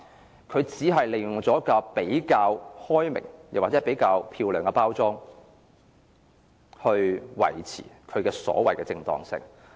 不過，政府只是利用比較開明，或比較漂亮的包裝來維持其所謂的正當性。